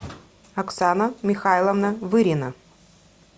оксана михайловна вырина